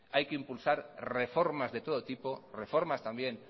hay que impulsar reformas de todo tipo reformas también